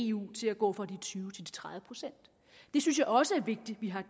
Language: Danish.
eu til at gå fra de tyve til de tredive procent det synes jeg også er vigtigt vi har